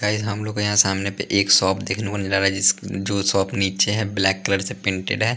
Guys हम लोग को यहाँ सामने पे एक शॉप देखने को मिल रहा है जिस जो शॉप नीचे है ब्लैक कलर से पेंटेड है।